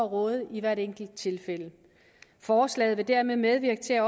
råde i hvert enkelt tilfælde forslaget vil dermed medvirke til at